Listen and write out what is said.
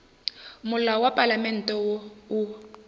molao wa palamente wo o